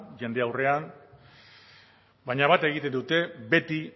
jende aurrean baina bat egiten dute beti